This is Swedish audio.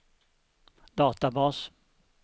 databas